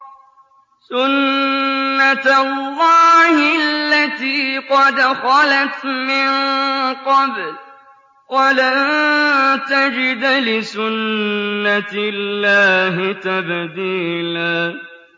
سُنَّةَ اللَّهِ الَّتِي قَدْ خَلَتْ مِن قَبْلُ ۖ وَلَن تَجِدَ لِسُنَّةِ اللَّهِ تَبْدِيلًا